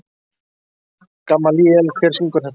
Gamalíel, hver syngur þetta lag?